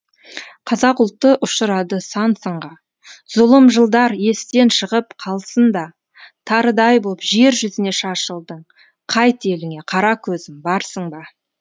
қазақ ұлты ұшырады сан сынға зұлым жылдар естен шығып қалсын да тарыдай боп жер жүзіне шашылдың қайт еліңе қаракөзім барсың ба